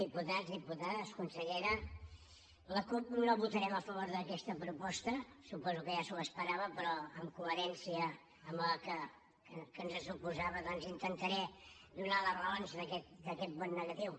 diputats diputades consellera la cup no votarem a favor d’aquesta proposta suposo que ja s’ho esperava però en coherència amb el que ens suposava doncs intentaré donar les raons d’aquest vot negatiu